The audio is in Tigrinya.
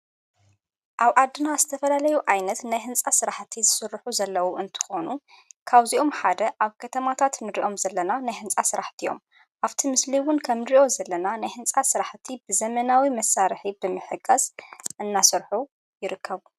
ኣብ ኣድና ዝተፈላለዩ ዓይነት ናይ ህንፃ ስራሕእቲ ዝሥርኁ ዘለዉ እንትኾኑ ካውዚኦም ሓደ ኣብ ከተማታት ምድዲእኦም ዘለና ናይ ሕንጻ ሥራሕት እዮም ኣብቲ ምስልይውን ከምድርእዮ ዘለና ናይ ሕንፃ ሥራሕ እቲ ብዘመናዊ መሣርሒ ብምሕገስ እናሠርኁ ይርከቡ።